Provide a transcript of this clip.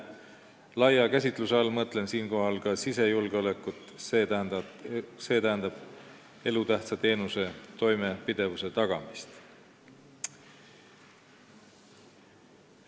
Laia käsitluse all mõtlen ka sisejulgeolekut, st elutähtsa teenuse toimepidevuse tagamist.